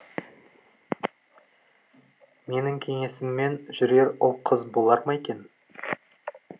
менің кеңесіммен жүрер ұл қыз болар ма екен